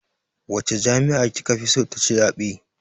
Wace jami'yya ki ka fi so ta ci zaɓe.